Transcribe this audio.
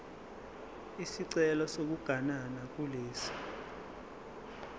isicelo sokuganana kulesi